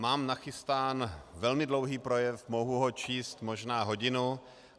Mám nachystán velmi dlouhý projev, mohu ho číst možná hodinu.